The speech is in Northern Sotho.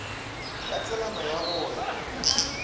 ka tselana ya go ya